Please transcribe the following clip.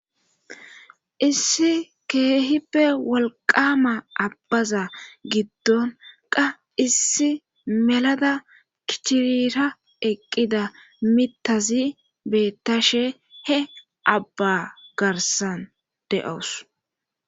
Issi keehippe walqama abbaza giddon qa issi melada kichirira eqqida mitazi beettashe he abba garsan de7ous.